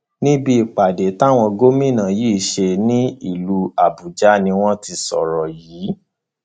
níbi ìpàdé táwọn gómìnà yìí ṣe nílùú àbújá ni wọn ti sọrọ yìí